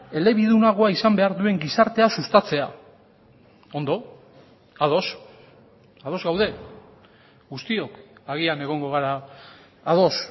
elebidunagoa izan behar duen gizartea sustatzea ondo ados gaude guztiok agian egongo gara ados